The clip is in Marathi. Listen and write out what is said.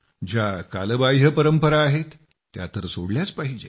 ज्या कालबाह्य परंपरा आहेत त्या तर सोडल्याच पाहिजेत